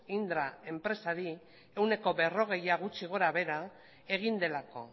indra enpresari ehuneko berrogeia gutxi gora behera egin delako